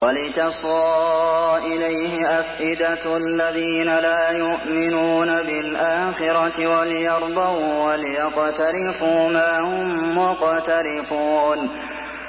وَلِتَصْغَىٰ إِلَيْهِ أَفْئِدَةُ الَّذِينَ لَا يُؤْمِنُونَ بِالْآخِرَةِ وَلِيَرْضَوْهُ وَلِيَقْتَرِفُوا مَا هُم مُّقْتَرِفُونَ